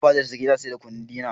Ina fadar sarki ina sayar da kunu dina.